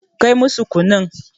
Kai musu kunun.